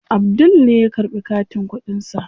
Abdul ne ya karɓi katin kuɗin sa.